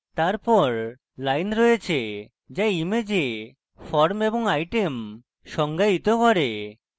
তারপর lines রয়েছে যা image forms এবং items সংজ্ঞায়িত করে